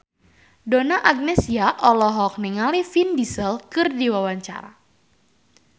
Donna Agnesia olohok ningali Vin Diesel keur diwawancara